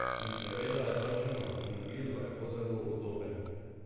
In seveda je takšen avtomobil lahko zelo udoben.